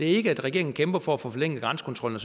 ikke at regeringen kæmper for at få forlænget grænsekontrollen